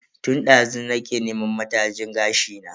Tun dazu nake neman matajin gashi na.